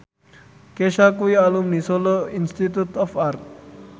Kesha kuwi alumni Solo Institute of Art